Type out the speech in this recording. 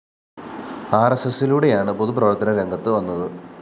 ആര്‍എസ്എസിലൂടെയാണ് പൊതു പ്രവര്‍ത്തനരംഗത്ത് വന്നത്